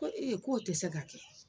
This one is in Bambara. Ko k'o tɛ se ka kɛ.